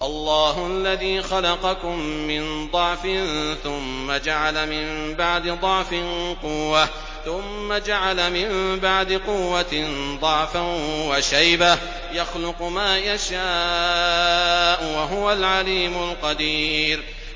۞ اللَّهُ الَّذِي خَلَقَكُم مِّن ضَعْفٍ ثُمَّ جَعَلَ مِن بَعْدِ ضَعْفٍ قُوَّةً ثُمَّ جَعَلَ مِن بَعْدِ قُوَّةٍ ضَعْفًا وَشَيْبَةً ۚ يَخْلُقُ مَا يَشَاءُ ۖ وَهُوَ الْعَلِيمُ الْقَدِيرُ